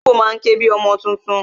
Ológbò má ń ké bi ọmọ tuntun